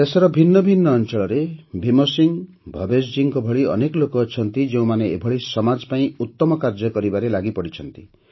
ଦେଶର ଭିନ୍ନ ଭିନ୍ନ ଅଞ୍ଚଳରେ ଭୀମ ସିଂହ ଭବେଶ ଜୀଙ୍କ ଭଳି ଅନେକ ଲୋକ ଅଛନ୍ତି ଯେଉଁମାନେ ଏଭଳି ସମାଜ ପାଇଁ ଉତ୍ତମ କାର୍ଯ୍ୟ କରିବାରେ ଲାଗିପଡ଼ିଛନ୍ତି